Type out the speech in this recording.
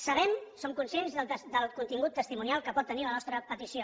sabem som conscients del contingut testimonial que pot tenir la nostra petició